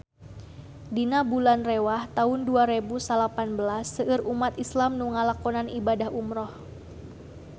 Dina bulan Rewah taun dua rebu salapan belas seueur umat islam nu ngalakonan ibadah umrah